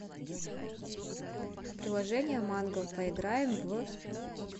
приложение манго поиграем в